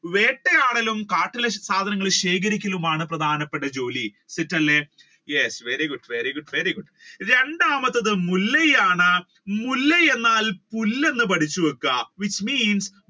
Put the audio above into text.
വേട്ടയാടലും കാട്ടിലെ സാധനങ്ങൾ ശേഖരിക്കുകയുമാണ് പ്രധാനപ്പെട്ട ജോലി yes very good very good very good. രണ്ടാമത്തത് മുല്ലയാണ് മുല്ല എന്നാൽ പുല്ല് എന്ന് പഠിച്ചു വെക്കുക.